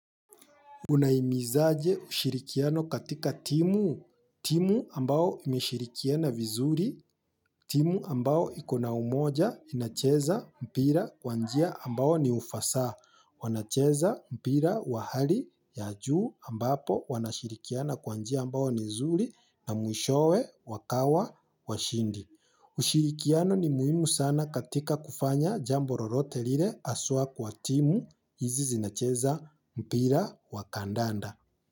Unahimizaje ushirikiano katika timu. Timu ambao imeshirikiana vizuri. Timu ambao ikona umoja inacheza mpira kwa njia ambao ni ufasa. Wanacheza mpira wahali ya juu ambapo wanashirikiana kwa njia ambao ni zuri na mwishowe wakawa washindi. Ushirikiano ni muhimu sana katika kufanya jambo lolote lile haswa kwa timu hizi zinacheza mpira wa kandanda.